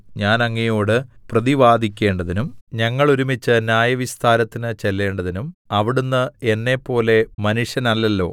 ഞാൻ അങ്ങയോട് പ്രതിവാദിക്കേണ്ടതിനും ഞങ്ങളൊരുമിച്ച് ന്യായവിസ്താരത്തിന് ചെല്ലേണ്ടതിനും അവിടുന്ന് എന്നെപ്പോലെ മനുഷ്യനല്ലല്ലോ